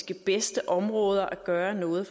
de bedste områder at gøre noget